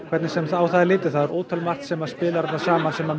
hvernig sem á það er litið það er ótrúlega margt sem spilar þarna saman sem